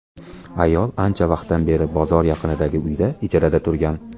Ayol ancha vaqtdan beri bozor yaqinidagi uyda ijarada turgan.